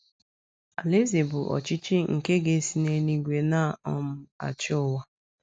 Alaeze a bụ ọchịchị nke ga - esi n’eluigwe na um - achị ụwa.